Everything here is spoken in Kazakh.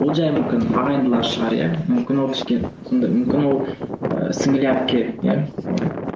ол жай мүмкін ағайындылар шығар иә мүмкін ол сондай мүмкін ол ііі сіңілілі әпке иә